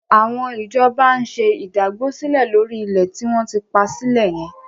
Àwọn ìjọba ń ṣe ìdágbósílẹ̀ lórí ilẹ̀ tí wọ́n ti pa sílẹ̀ yẹn.